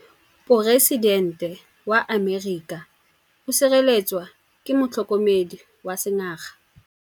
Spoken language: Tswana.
Poresitêntê wa Amerika o sireletswa ke motlhokomedi wa sengaga.